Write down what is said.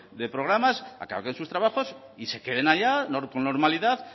de programas acaben sus trabajos y se queden allá con normalidad